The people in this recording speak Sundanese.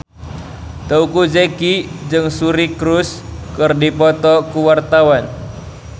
Teuku Zacky jeung Suri Cruise keur dipoto ku wartawan